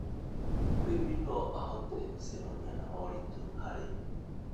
Mũrĩmi no ahote gũcemania na moritũ harĩ